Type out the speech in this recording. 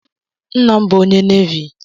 Nna m bụ onye Navi.